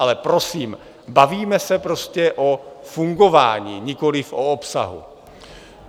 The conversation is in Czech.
Ale prosím, bavíme se prostě o fungování, nikoliv o obsahu.